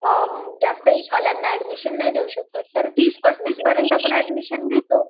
अ जास्त एज वाल्याना एड्मिशन नाही देऊ शकत तर तीस पास्तीसच पर्यंत आपण एड्मिशन देतो